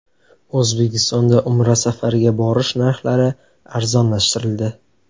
O‘zbekistonda Umra safariga borish narxlari arzonlashtirildi.